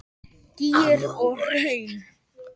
Gígar og hraun